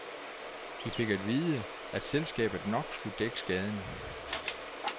Vi fik at vide, at selskabet nok skulle dække skaden.